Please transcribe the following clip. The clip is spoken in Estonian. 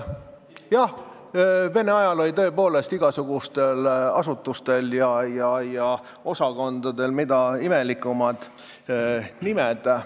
Jah, Vene ajal oli tõepoolest igasugustel asutustel ja osakondadel imelikud nimed.